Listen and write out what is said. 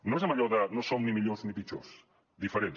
no és amb allò de no som ni millors ni pitjors diferents